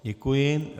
Děkuji.